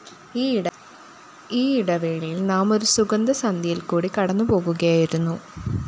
ഈ ഇടവേളയില്‍ നാം ഒരു യുഗസന്ധ്യയില്‍ക്കൂടി കടന്നുപോകുകയായിരുന്നു